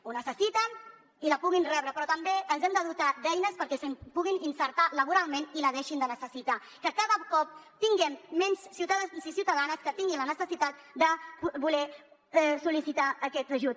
ho necessiten i la puguin rebre però també ens hem de dotar d’eines perquè es puguin inserir laboralment i la deixin de necessitar que cada cop tinguem menys ciutadans i ciutadanes que tinguin la necessitat de sol·licitar aquest ajut